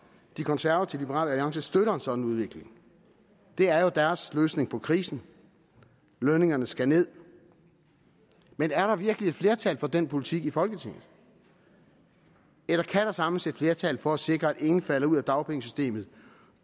de konservative og liberal alliance støtter en sådan udvikling det er jo deres løsning på krisen lønningerne skal nederst men er der virkelig et flertal for den politik i folketinget eller kan der samles et flertal for at sikre at ingen falder ud af dagpengesystemet